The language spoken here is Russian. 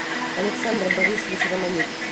александр борисович романюк